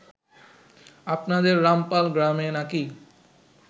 আপনাদের রামপাল গ্রামে নাকি